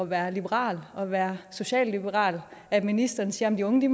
være liberal og være socialliberal at ministeren siger at de unge